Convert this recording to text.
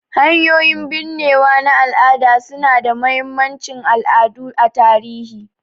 Hanyoyin binnewa na al'ada su na da mahimmancin al'adu a tarihi